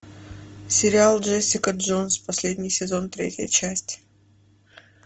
сериал джессика джонс последний сезон третья часть